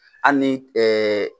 Hali ni